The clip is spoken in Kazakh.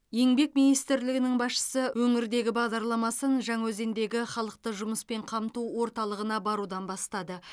еңбек министрлігінің басшысы өңірдегі бағдарламасын жаңаөзендегі халықты жұмыспен қамту орталығына барудан бастады